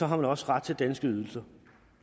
har ret ret til danske ydelser